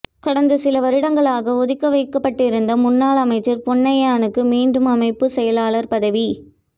கடந்த சில வருடங்களாக ஒதுக்கி வைக்கப்பட்டிருந்த முன்னாள் அமைச்சர் பொன்னையனுக்கு மீண்டும் அமைப்பு செயலாளர் பதவி